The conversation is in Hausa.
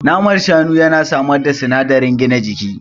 Naman Shanu ya na samar da sinadarin gina jiki